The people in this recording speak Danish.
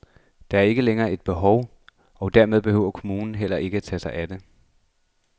Der er ikke længere et behov, og dermed behøver kommunen heller ikke tage sig af det.